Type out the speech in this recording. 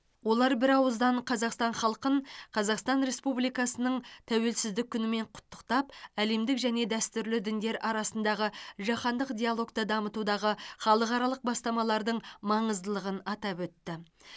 олар бірауыздан қазақстан халқын қазақстан республикасының тәуелсіздік күнімен құттықтап әлемдік және дәстүрлі діндер арасындағы жаһандық диалогты дамытудағы халықаралық бастамалардың маңыздылығын атап өтті